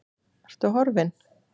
Ertu horfin?